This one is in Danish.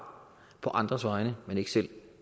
på andres vegne men ikke selv